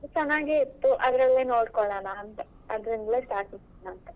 ಚೆನ್ನಾಗಿ ಇತ್ತು ಅದ್ರಲ್ಲೇ ನೋಡಿಕೊಳ್ಳೋಣ ಅಂತ. ಅದ್ರಿಂದಲೇ start ಮಾಡೋಣ ಅಂತ.